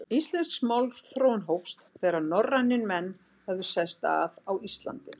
Íslensk málþróun hófst, þegar norrænir menn höfðu sest að á Íslandi.